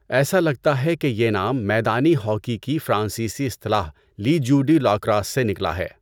ایسا لگتا ہے کہ یہ نام میدانی ہاکی کی فرانسیسی اصطلاح لی جیو ڈی لا کراس سے نکلا ہے۔